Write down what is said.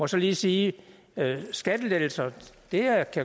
så lige sige at skattelettelser